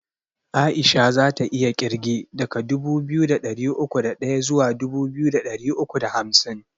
Aisha zata iya kirge daga dubu biyu da ɗari uku da ɗaya zuwa dubu biyu da ɗari uku da hamsin